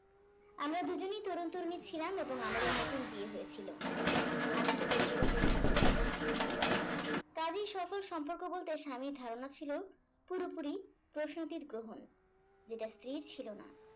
আমরা দুজনেই তরুণ তরুণী ছিলাম এবং আমাদের নতুন বিয়ে হয়েছিল আমি কেবল যোগাযোগ করতে চাইতাম কাজেই সফল সম্পর্ক বলতে স্বামীর ধারণা ছিল পুরোপুরি প্রসূতির গ্রহণ যেটা স্ত্রীর ছিল না